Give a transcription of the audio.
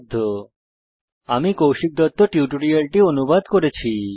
http spoken tutorialorgnmeict intro আমি কৌশিক দত্ত এই টিউটোরিয়ালটি অনুবাদ করেছি